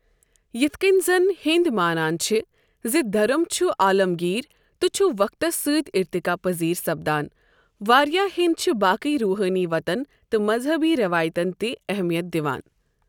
یِتھ کٔنۍ زن ہیندِ مانان چھِ زِ دھرم چھُ عالَمگیٖر تہٕ چھُ وقتس سۭتۍ اِرتِقا پذیٖر سپدان واریاہ ہیندِ چھِ باقٕے روحٲنی وتَن تہٕ مذہبی روایتن تہِ اہمِیَت دِوان ۔